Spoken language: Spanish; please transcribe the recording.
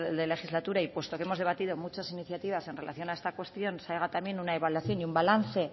de legislatura y puesto que hemos debatido muchas iniciativas en relación a esta cuestión se haga también una evaluación y un balance